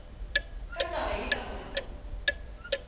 ka taba ye ka gore